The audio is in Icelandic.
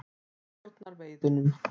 Hann stjórnar veiðunum.